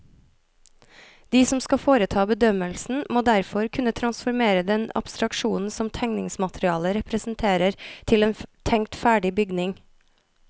De som skal foreta bedømmelsen, må derfor kunne transformere den abstraksjonen som tegningsmaterialet representerer til en tenkt ferdig bygning.